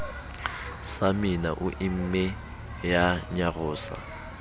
samina o imme ya nyarosa